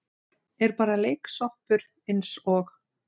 Er bara leiksoppur eins og